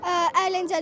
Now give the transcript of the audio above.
Əyləncələr.